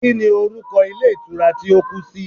Kíni orúkọ Ilé Ìtura tí ó kú si